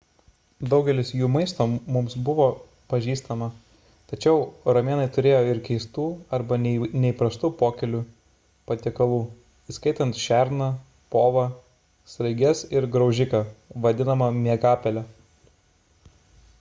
daugelis jų maisto mums bus pažįstama tačiau romėnai turėjo ir keistų arba neįprastų pokylių patiekalų įskaitant šerną povą sraiges ir graužiką vadinamą miegapele